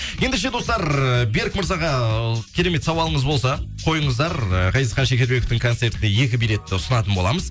ендеше достар берік мырзаға ыыы керемет сауалыңыз болса қойыңыздар ыыы ғазизхан шекербековтың концертіне екі билетті ұсынатын боламыз